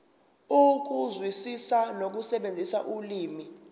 ukuzwisisa nokusebenzisa ulimi